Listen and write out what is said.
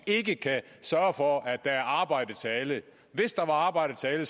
ikke kan sørge for at der er arbejde til alle hvis der var arbejde til alle